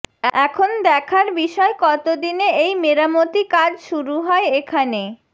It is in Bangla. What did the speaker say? এখন দেখার বিষয় কতদিনে এই মেরামতি কাজ শুরু হয় এখানে